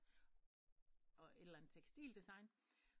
Og et eller ander tekstildesign